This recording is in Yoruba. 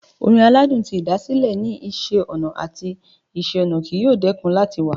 Orin aladun ti ĭdàsĭlẹ ni Iṣẹ ọna ati Iṣẹ-ọnà kii yoo dẹkun lati wa